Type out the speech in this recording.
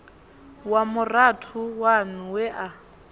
wa murathu waṋu we a